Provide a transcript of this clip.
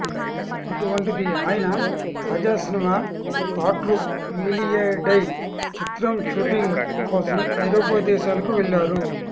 అటువంటిది అయన తాజా సినిమా కాట్రు వేలియడై చిత్ర షూటింగ్ కోసం ఐరోపా దేశాలకు వెళ్లారు